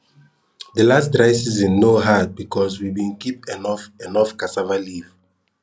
de last dry season no hard because we bin keep enough enough cassava leaf